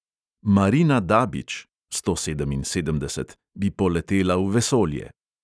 Marina dabič (sto sedeminsedemdeset) bi poletela v vesolje.